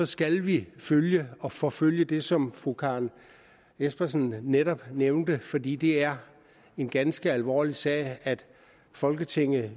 skal vi følge og forfølge det som fru karen jespersen netop nævnte fordi det er en ganske alvorlig sag at folketinget